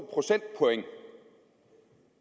procentpoint